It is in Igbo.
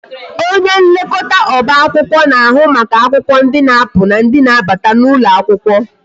Onye nlekọta oba akwụkwọ na-ahụ maka akwụkwọ ndi na-apụ na ndị na-abata n'ụlọ akwụkwọ